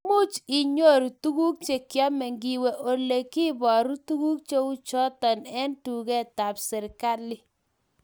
Much inyoru tuguk chekiame ngiwe ole kibaru tuguk cheuchotok eng duket tab serikali